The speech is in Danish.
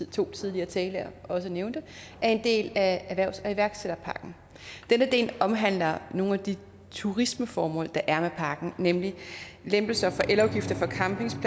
to tidligere talere jo også nævnte er en del af erhvervs og iværksætterpakken denne del omhandler nogle af de turismeformål der er med pakken nemlig lempelser